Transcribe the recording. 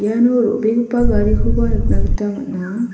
iano ro·begipa garikoba nikna gita man·a.